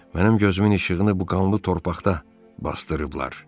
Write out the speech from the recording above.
Mənim gözümün işığını bu qanlı torpaqda basdırıblar.